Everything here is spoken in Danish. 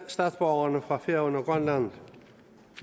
statsborgerne fra færøerne og grønland